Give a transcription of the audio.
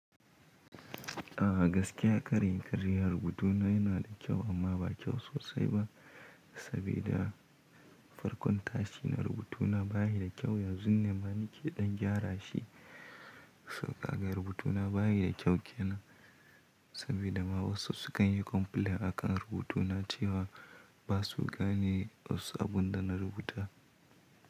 A gaskiya kar in yi ƙarya rubutuna yana da kyau amma ba kyau sosai ba, sabida farkon tashi na rubutuna ba yi da kyau, yanzun ne ma ni ke ɗan gyara shi, So ka ga rubutuna ba yi da kyau ke nan, sabida ma wasu sukan yi complaint akan rubutuna cewa ba su gane wasu abun da na rubuta.